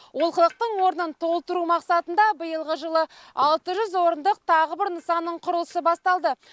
олқылықтың орнын толтыру мақсатында биылғы жылы алты жүз орындық тағы бір нысанның құрылысы басталды